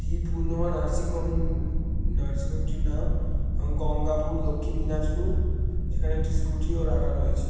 এবং the Purnima nursing home নার্সিংহোমটির নাম এবং গঙ্গাপুর দক্ষিণ দিনাজপুর এখানে একটি স্কুটি ও রাখা রয়েছে।